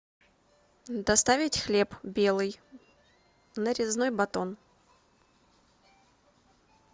доставить хлеб белый нарезной батон